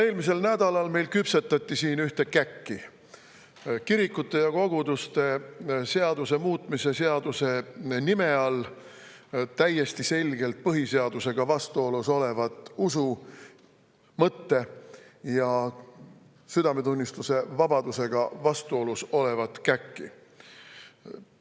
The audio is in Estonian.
Eelmisel nädalal küpsetati meil siin ühte käkki, kirikute ja koguduste seaduse muutmise seaduse nime all täiesti selgelt põhiseadusega vastuolus olevat usu‑, mõtte‑ ja südametunnistusevabadusega vastuolus olevat käkki.